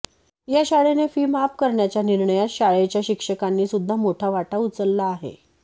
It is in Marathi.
या शाळेने फी माफ करण्याच्या निर्णयात शाळेच्या शिक्षकांनी सुद्धा मोठा वाटा उचलला आहे